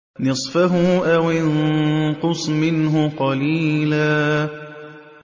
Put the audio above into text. نِّصْفَهُ أَوِ انقُصْ مِنْهُ قَلِيلًا